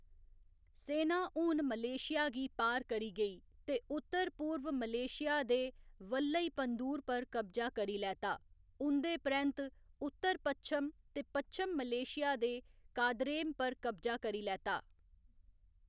सेना हून मलेशिया गी पार करी गेई ते उत्तर पूर्व मलेशिया दे वल्लईपँदूर पर कब्जा करी लैता, उं'दे परैंत्त उत्तर पच्छम ते पच्छम मलेशिया दे कादरेम पर कब्जा करी लैता।